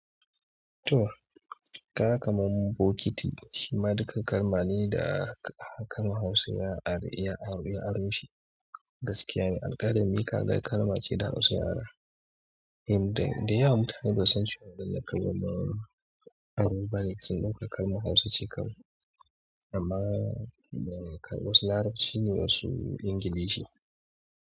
To, ka ga kamar bokiti shima duka kalma ne da kalmar Hausa ya aro, ya aroshi gaskiya ne. Alƙalami ka ga kalma ce ta Hausa. In dai. Da yawa mutane basu san cewa wanna kalma ba, aro bane. Sannan kawai kalmar Hausa ce kawai. Amma kuma wasu larabci ne wasu Ingilishi.